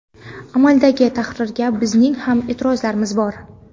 Amaldagi tahrirga bizning ham e’tirozlarimiz bor.